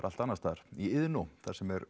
allt annars staðar í Iðnó þar sem